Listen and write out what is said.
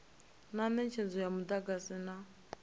na netshedzo ya mudagasi na